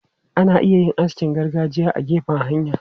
Ana iya yin askin gargajiya a gefen hanya.